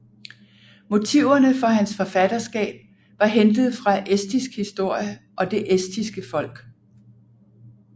Motiverne for hans forfatterskab var hentet fra estisk historie og det estiske folk